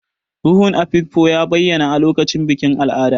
Ruhun Afikpo ya bayyana a lokacin bikin al'ada.